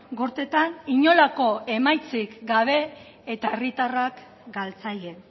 gorteetan inolako emaitzik gabe eta herritarrak galtzaile